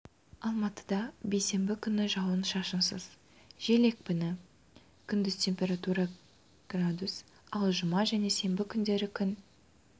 алматыда бейсенбі күні жауын шашынсыз жел екпіні күндіз температура градус ал жұма және сенбі күндері күн